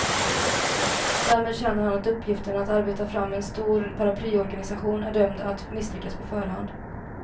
Därmed känner han att uppgiften att arbeta fram en stor paraplyorganisation är dömd att misslyckas på förhand.